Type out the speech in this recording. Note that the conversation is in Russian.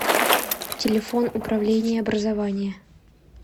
телефон управление образования